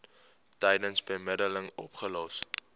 tydens bemiddeling opgelos